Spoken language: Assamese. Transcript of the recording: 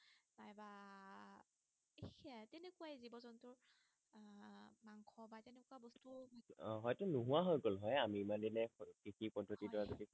আহ হয়টো নোহোৱা হৈ গল হয় আমি ইমান দিনে কৃষি পদ্ধতিটো হয়